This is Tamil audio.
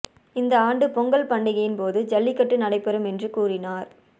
இந்த ஆண்டு பொங்கல் பண்டிகையின் போது ஜல்லிக்கட்டு நடைபெறும் என்று கூறினார்